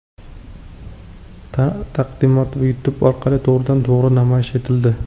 Taqdimot YouTube orqali to‘g‘ridan-to‘g‘ri namoyish etildi .